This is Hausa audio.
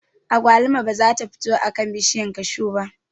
Agwaluma ba za ta fito a kan bishiyar kashu ba